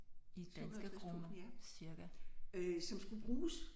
750000 ja øh som skulle bruges